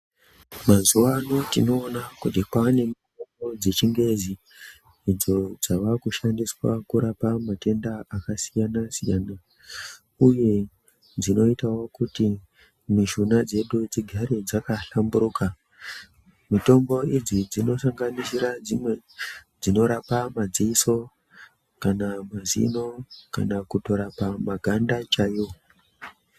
Mazuva anotinoona kuti kwane mitombo dzechingezi idzo dzavakushandiswa kurapa matenda akasiyana-siyana, uye dzinoitavo kuti mishuna dzedu dzigare dzakahlamburuka. Mitombo idzi dzinosanganisira dzimwe dzinorapa madziso kana mazino, kana kutorapa maganda chaivo.